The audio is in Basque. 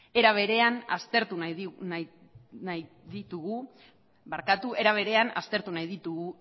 era berean aztertu nahi ditugu